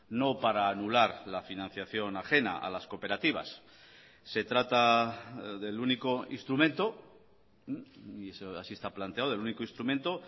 no para anular la financiación ajena a las cooperativas se trata del único instrumento y así está planteado el único instrumento